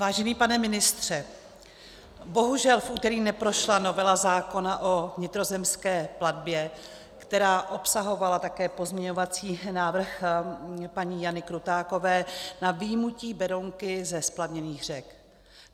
Vážený pane ministře, bohužel v úterý neprošla novela zákona o vnitrozemské plavbě, která obsahovala také pozměňovací návrh paní Jany Krutákové na vyjmutí Berounky ze splavněných řek.